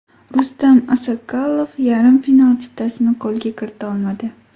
Rustam Assakalov yarim final chiptasini qo‘lga kirita olmadi.